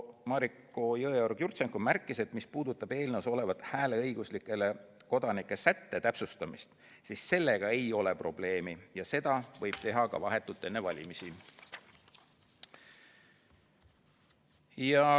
Mariko Jõeorg-Jurtšenko märkis, et mis puudutab eelnõus olevat hääleõiguslike kodanike sätte täpsustamist, siis sellega ei ole probleemi ja seda võib teha ka vahetult enne valimisi.